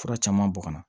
Fura caman bɔn ka na